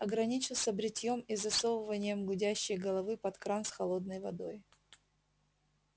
ограничился бритьём и засовыванием гудящей головы под кран с холодной водой